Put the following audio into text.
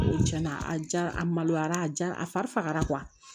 Ko cɛn na a jara a maloyara a ja a fari fagara